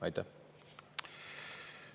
Aitäh!